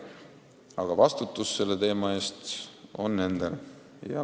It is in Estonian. Aga vastutus on nendel.